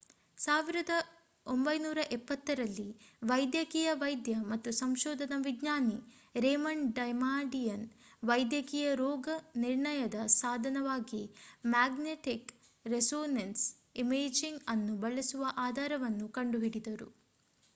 1970 ರಲ್ಲಿ ವೈದ್ಯಕೀಯ ವೈದ್ಯ ಮತ್ತು ಸಂಶೋಧನಾ ವಿಜ್ಞಾನಿ ರೇಮಂಡ್ ಡಮಾಡಿಯನ್ ವೈದ್ಯಕೀಯ ರೋಗನಿರ್ಣಯದ ಸಾಧನವಾಗಿ ಮ್ಯಾಗ್ನೆಟಿಕ್ ರೆಸೋನೆನ್ಸ್ ಇಮೇಜಿಂಗ್ ಅನ್ನು ಬಳಸುವ ಆಧಾರವನ್ನು ಕಂಡುಹಿಡಿದರು